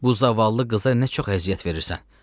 Bu zavallı qıza nə çox əziyyət verirsən.